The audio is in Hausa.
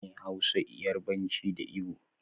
Sune hausa, yarbanci, da igbo